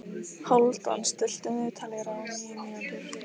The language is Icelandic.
Hálfdan, stilltu niðurteljara á níu mínútur.